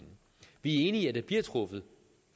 enige i at der bliver truffet